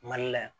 Mali la yan